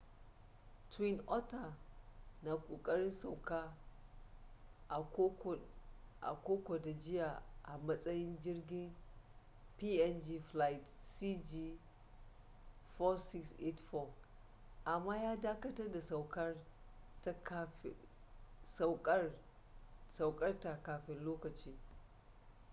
twin otter na kokarin sauka a kokoda jiya a matsayin jirgin png flight cg4684 amma ya dakatar da saukar ta kafin lokaci